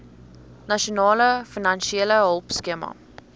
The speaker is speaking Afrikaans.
nasionale finansiële hulpskema